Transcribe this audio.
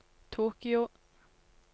Tokyo